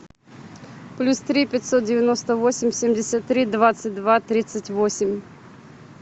плюс три пятьсот девяносто восемь семьдесят три двадцать два тридцать восемь